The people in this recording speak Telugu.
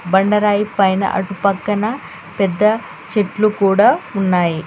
బండరాయి పైన అటు పక్కన పెద్ద చెట్లు కూడా ఉన్నాయి.